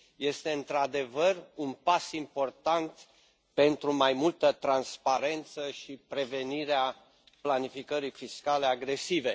Este într adevăr un pas important pentru mai multă transparență și prevenirea planificării fiscale agresive.